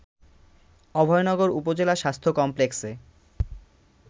অভয়নগর উপজেলা স্বাস্থ্য কমপ্লেক্সে